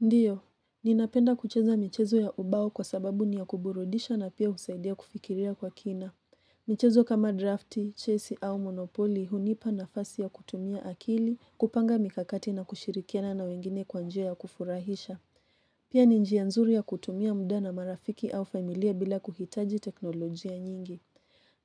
Ndiyo, ninapenda kucheza michezo ya ubao kwa sababu ni ya kuburudisha na pia husaidia kufikiria kwa kina. Michezo kama drafti, chesi au monopoli hunipa nafasi ya kutumia akili, kupanga mikakati na kushirikiana na wengine kwa njia ya kufurahisha. Pia ni njia nzuri ya kutumia muda na marafiki au familia bila kuhitaji teknolojia nyingi.